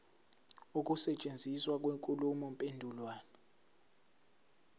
ukusetshenziswa kwenkulumo mpendulwano